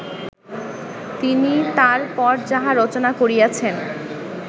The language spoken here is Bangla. তিনি তার পর যাহা রচনা করিয়াছেন